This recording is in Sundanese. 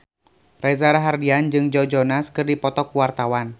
Reza Rahardian jeung Joe Jonas keur dipoto ku wartawan